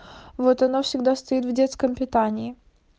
вот она всегда стоит в детском питании